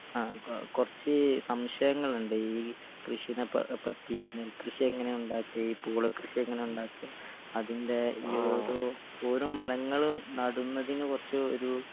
ആ കൊ കൊറച്ച് സംശയങ്ങളിണ്ട് ഈ കൃഷിനെ പ പറ്റി നെൽ കൃഷിയെങ്ങനെ ഉണ്ടാക്കാ ഈ പൂള കൃഷിയെങ്ങനെ ഉണ്ടാക്കാ അതിന്റെ ഈയോരോ ഓരോ മരങ്ങളും നടന്നതിന് കൊറച്ച് ഒരു.